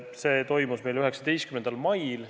See istung toimus meil 19. mail.